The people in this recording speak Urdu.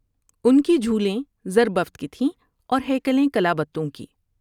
ان کی جھولیں زربفت کی تھیں اور ہیکلیں کلابتوں کی ۔